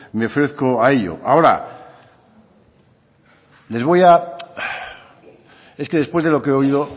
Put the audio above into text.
me ofrezco a ello ahora les voy a es que después de lo que he oído